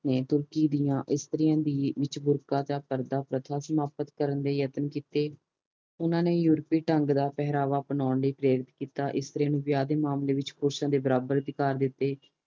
ਤੁਰਕੀ ਦੀਆਂ ਇਸਤਰੀਆਂ ਵਿਚ ਬੁਰਖਾ ਪਰਦਾ ਪ੍ਰਥਾ ਸਮਾਪਤ ਕਰਨ ਲਈ ਯਤਨ ਕੀਤੇ ਉਨ੍ਹਾਂ ਨੇ ਯੂਰਪੀ ਢੰਗ ਦਾ ਪਹਿਰਾਵਾ ਅਪਣਾਉਣ ਲਈ ਪ੍ਰੇਰਿਤ ਕੀਤਾ ਇਸਤਰੀਆਂ ਨੂੰ ਵਿਵਾਹ ਦੇ ਮਾਮਲੇ ਵਿਚ ਪੁਰਸ਼ਾ ਦੇ ਬਰਾਬਰ ਦਾ ਅਧਿਕਾਰ ਦਿਤੇ